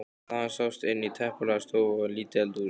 Þaðan sást inn í teppalagða stofu og lítið eldhús.